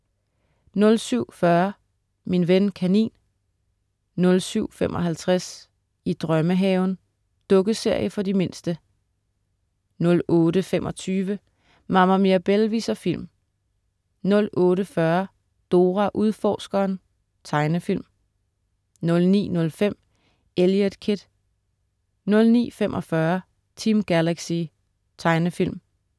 07.40 Min ven kanin 07.55 I drømmehaven. Dukkeserie for de mindste 08.25 Mama Mirabelle viser film 08.40 Dora Udforskeren. Tegnefilm 09.05 Eliot Kid 09.45 Team Galaxy. Tegnefilm